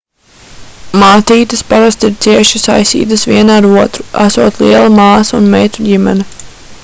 mātītes parasti ir cieši saistītas viena ar otru esot liela māsu un meitu ģimene